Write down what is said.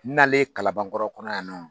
N nalen kalanbankɔrɔ kɔnɔ yan nɔn